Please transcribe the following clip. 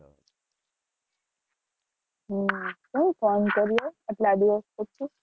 કેમ ફોન કર્યો આટલા દિવસ પછી?